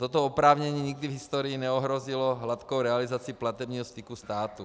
Toto oprávnění nikdy v historii neohrozilo hladkou realizaci platebního styku státu.